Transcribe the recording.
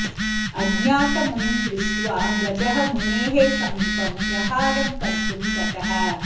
अज्ञातमुनिं दृष्ट्वा गजः मुनेः समीपं प्रहारं कर्तुं गतः